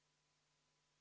Meist keegi karistatud ei ole.